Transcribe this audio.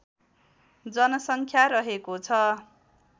जनसङ्ख्या रहेको छ